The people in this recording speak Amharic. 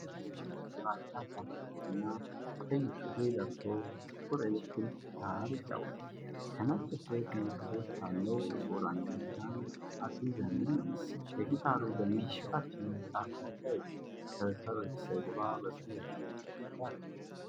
አንድ ሰው ጥቁር ግራጫ ጃኬት እና ቀይ ሱሪ ለብሶ ጥቁር ኤሌክትሪክ ጊታር ይጫወታል። ከነጭ ፍሬት ምልክቶች ካለው ጥቁር አንገት ጋር አዲስ ዘመን ነው። የጊታሩ ገመድ ከታችኛው ጫፍ ጋር ተያይዟል። ከበስተጀርባ በሥዕል ያሸበረቀ ግድግዳ አለ።